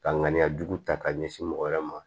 Ka ŋaniya jugu ta k'a ɲɛsin mɔgɔ wɛrɛ ma